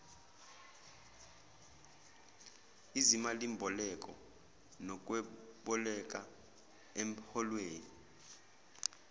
izimalimboleko nokweboleka emholweni